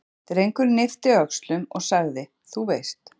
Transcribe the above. Drengurinn yppti öxlum og sagði: Þú veist.